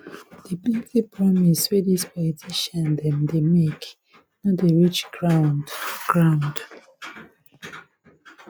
di plenty promise wey dis politician dem dey make no dey reach ground ground